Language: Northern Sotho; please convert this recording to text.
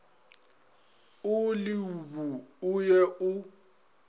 o leobu o ye o